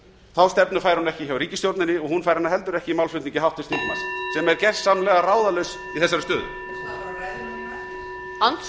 þá stefnu fær hún ekki hjá ríkisstjórninni og hún fær hana heldur ekki í málflutningi háttvirts þingmanns sem er gersamlega ráðalaus í þessari stöðu